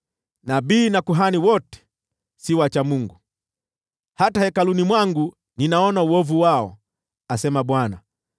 “Nabii na kuhani wote si wacha Mungu; hata hekaluni mwangu ninaona uovu wao,” asema Bwana .